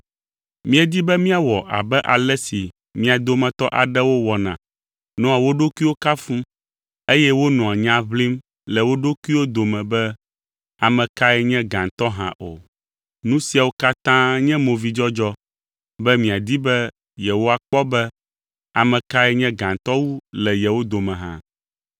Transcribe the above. Míedi be míawɔ abe ale si mia dometɔ aɖewo wɔna nɔa wo ɖokuiwo kafum eye wonɔa nya ʋlim le wo ɖokuiwo dome be ame kae nye gãtɔ hã o. Nu siawo katã nye movidzɔdzɔ be miadi be yewoakpɔ be, ame kae nye gãtɔ wu le yewo dome hã?